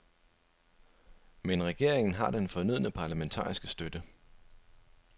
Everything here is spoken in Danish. Men regeringen har den fornødne parlamentariske støtte.